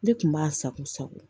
Ne kun b'a sago sago